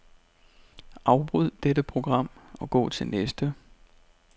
Afbryd dette program og gå til næste.